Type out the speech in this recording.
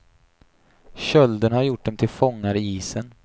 Kölden har gjort dem till fångar i isen.